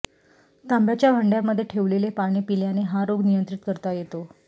तांब्याच्या भांड्यामध्ये ठेवलेले पाणी पिल्याने हा रोग नियंत्रित करता येतो